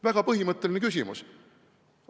Väga põhimõtteline küsimus.